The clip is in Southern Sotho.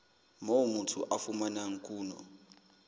moo motho a fumanang kuno